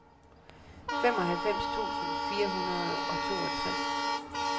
femoghalvfems tusind fire hundrede og toogtres